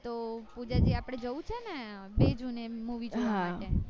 તો પૂજા જી આપડે જવું છે ને બે june એ movie જોવા